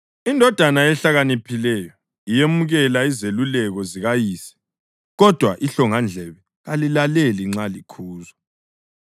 Indodana ehlakaniphileyo iyemukela izeluleko zikayise, kodwa ihlongandlebe kalilaleli nxa likhuzwa.